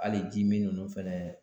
Hali jimin ninnu fɛnɛ